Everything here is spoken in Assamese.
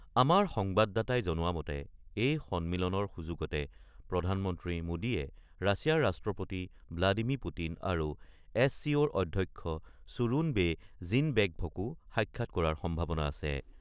আমাৰ সংবাদদাতাই জনোৱা মতে, এই সন্মিলনৰ সুযোগতে প্ৰধানমন্ত্ৰী মোদীয়ে ৰাছিয়াৰ ৰাষ্ট্ৰপতি ব্লাডিমী পুটিন আৰু এছ চি অ'ৰ অধ্যক্ষ চুৰুন ৱে জিনবেকভকো সাক্ষাৎ কৰাৰ সম্ভাৱনা আছে।